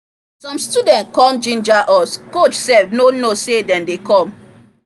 some students come ginger us coach sef no know say dem dey come